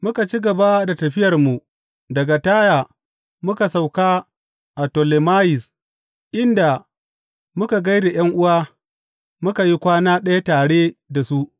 Muka ci gaba da tafiyarmu daga Taya muka sauka a Tolemayis, inda muka gai da ’yan’uwa muka yi kwana ɗaya tare da su.